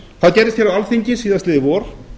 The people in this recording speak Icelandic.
það gerðist hér á alþingi síðastliðið vor